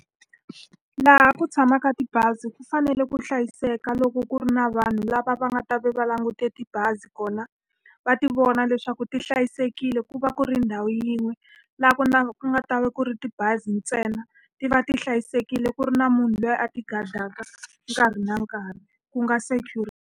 Laha ku tshamaka tibazi ku fanele ku hlayiseka loko ku ri na vanhu lava va nga ta va va langute tibazi kona, va ti vona leswaku ti hlayisekile ku va ku ri ndhawu yin'we. Laha ku ku nga ta va ku ri tibazi ntsena, ti va ti hlayisekile ku ri na munhu loyi a ti-guard-aka nkarhi na nkarhi. Ku nga .